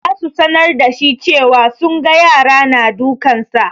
Za su sanar da shi cewa sunga yara na dukansa.